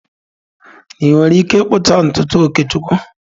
Ị nwere ike ịkpụcha ntutu Okechukwu?